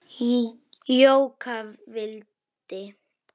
Jóka vildi.